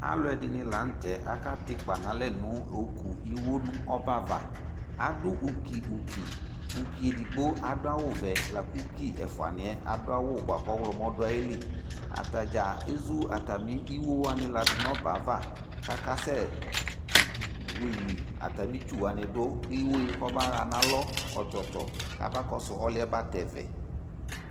alò ɛdini lantɛ aka tɛ ikpa n'alɛ no oku iwo n'ɔbɛ ava adu uki uki uki edigbo adu awu vɛ la kò uki ɛfuani yɛ adu awu boa kò ɔwlɔmɔ do ayili atadza ezu atami iwo wani la do n'ɔbɛ ava k'aka sɛ wili atami itsu wani do kò iwo yɛ kɔba ɣa n'alɔ ɔtsɔtsɔ kaba kɔsu ɔlò yɛ ba tɛ vɛ